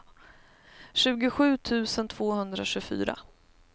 tjugosju tusen tvåhundratjugofyra